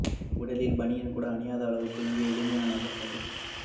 உடலில் பனியன் கூட அணியாத அளவுக்கு மிகவும் எளிமையான நபர் சஜித்